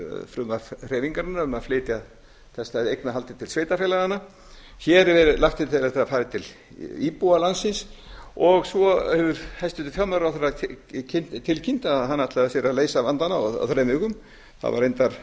frumvarp hreyfingarinnar um að flytja þetta eignarhald til sveitarfélaganna hér er lagt til að það fari til íbúa landsins og svo hefur hæstvirtur fjármálaráðherra tilkynnt að hann ætlaði sér að leysa vandann á þremur vikum það var reyndar